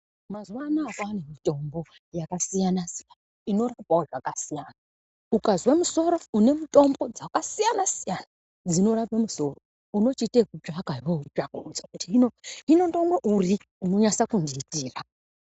Mazuvanaya kwane mitombo yakasiyana-siyana inorapawo zvakasiyana. Ukazwe musoro, une mitombo dzakasiyana siyana dzinorape musoro, unochiite ekutsvaka weunotsvaka weiti hino ndinomwa uri unonyasa kundiitira.